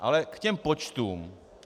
Ale k těm počtům.